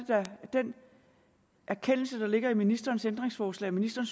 da den erkendelse der ligger i ministerens ændringsforslag at ministeren